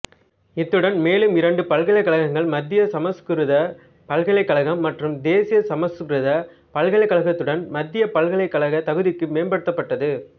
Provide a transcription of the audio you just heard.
இதனுடன் மேலும் இரண்டு பல்கலைக்கழகங்கள் மத்திய சமசுகிருத பல்கலைக்கழகம் மற்றும் தேசிய சமசுகிருத பல்கலைக்கழகத்துடன் மத்திய பல்கலைக்கழக தகுதிக்கு மேம்படுத்தப்பட்டது